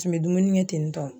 Tun be dumuni kɛ ten tɔ.